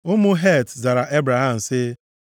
Ụmụ Het zara Ebraham sị,